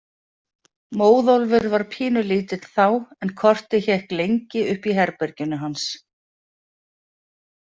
Móðólfur var pínulítill þá en kortið hékk lengi uppi í herberginu hans.